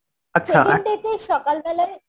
second day তে সকাল বেলায়,